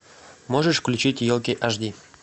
можешь включить елки аш ди